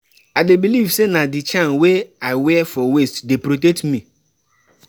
I dey believe sey na di charm wey I wear for waist dey protect me.